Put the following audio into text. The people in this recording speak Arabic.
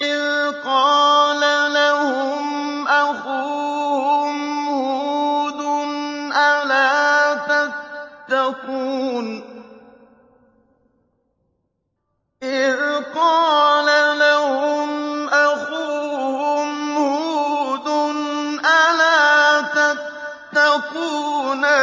إِذْ قَالَ لَهُمْ أَخُوهُمْ هُودٌ أَلَا تَتَّقُونَ